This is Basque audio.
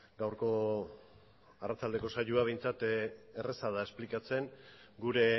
gaurko arratsaldeko saioa behintzat erraza da esplikatzen gure